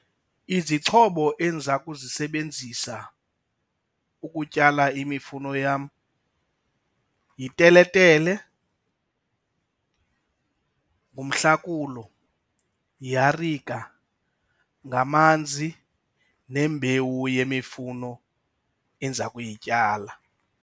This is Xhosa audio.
Izixhobo endiza kuzisebenzisa ukutyala imifuno yam yiteletele, ngumhlakulo, yiarika, ngamanzi, nembewu yemifuno endiza kuyityala.